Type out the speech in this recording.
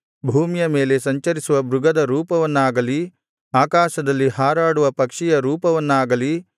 ಭೂಮಿಯ ಮೇಲೆ ಸಂಚರಿಸುವ ಮೃಗದ ರೂಪವನ್ನಾಗಲಿ ಆಕಾಶದಲ್ಲಿ ಹಾರಾಡುವ ಪಕ್ಷಿಯ ರೂಪವನ್ನಾಗಲಿ